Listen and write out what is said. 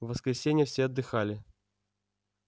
в воскресенье все отдыхали